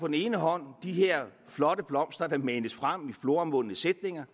den ene hånd de her flotte blomster der manes frem i floromvundne sætninger